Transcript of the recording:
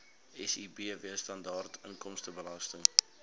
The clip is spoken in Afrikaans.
sibw standaard inkomstebelasting